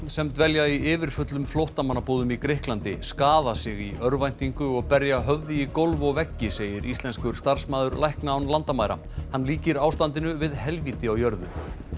sem dvelja í yfirfullum flóttamannabúðum í Grikklandi skaða sig í örvæntingu og berja höfði í gólf og veggi segir íslenskur starfsmaður lækna án landamæra hann líkir ástandinu við helvíti á jörðu